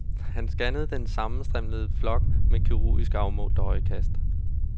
Han scannede den sammenstimlede flok med kirurgisk afmålt øjekast.